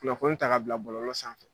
Kunnafoni ta k'a bila bɔlɔlɔ sanfɛ.